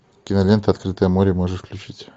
кинолента открытое море можешь включить